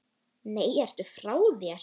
Nei, ertu frá þér!